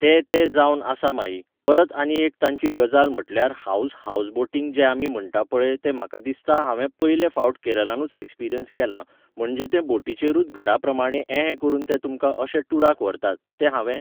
ते ते जावन आसा माई परत आनी एक तांची गजाल म्हटल्यार हावज हावजबोटींग जें आमी म्हणटा पळय तें म्हाका दिसता हांवें पयले फावट केरलानूच एक्सपिरियन्स केलां, म्हणजे ते बोटीचेरूत घरा प्रमाणे एहें करून ते तुमकां अशे टुराक व्हरतात, तें हांवें